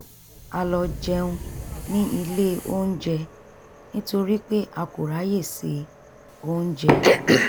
a lọ jẹun ní ilé onjẹ nítorí pé a kò ráyè se oúnjẹ